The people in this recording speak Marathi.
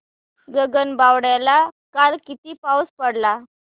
गगनबावड्याला काल किती पाऊस पडला